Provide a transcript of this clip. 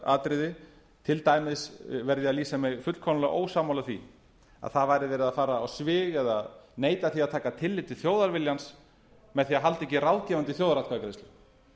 grundvallaratriði til dæmis verð ég að lýsa mig fullkomlega ósammála því að það væri verið að fara á svig eða neita því að taka tillit til þjóðarviljans með því að halda ekki